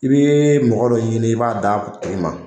I bee mɔgɔ dɔ ɲini i b'a da a tigi ma